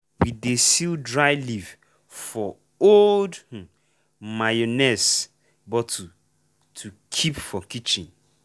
we dey seal dry leaf for old um mayonnaise bottle to keep for kitchen.